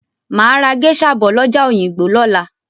Màá ra géṣà bọ̀ lọ́jà Òyìngbò lọ́la.